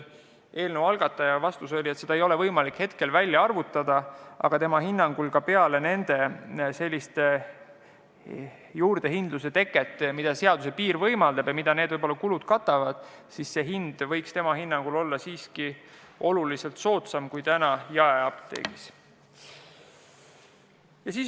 Eelnõu algataja vastus oli, et seda ei ole võimalik praegu välja arvutada, aga tema hinnangul võiks see hind ka vaatamata juurdehindlusele, mida seaduses sätestatud piir võimaldab ja mis võib-olla need kulud katab, olla oluliselt soodsam kui praegu jaeapteegis.